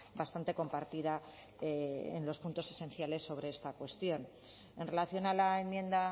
bastante compartida en los puntos esenciales sobre esta cuestión en relación a la enmienda